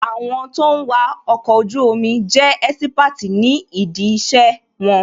Àwọn tó ń wà ọkọ̀ ojú omi jẹ́ ẹ́sípáàtì ní dí ìṣe wọn